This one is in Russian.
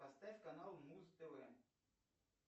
поставь канал муз тв